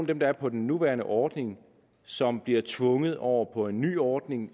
dem der er på den nuværende ordning som bliver tvunget over på en ny ordning